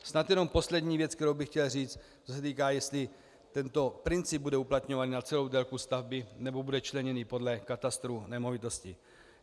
Snad jenom poslední věc, kterou bych chtěl říct, co se týká, jestli tento princip bude uplatňovaný na celou délku stavby, nebo bude členěný podle katastru nemovitostí.